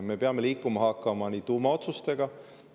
Me peame liikuma hakkama tuumaotsustega.